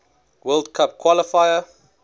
world cup qualifier